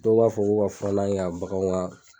Dɔw b'a fɔ ko ka furanna kɛ ka baganw ŋa